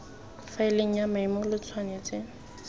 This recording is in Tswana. faeleng ya mametlelelo lo tshwanetse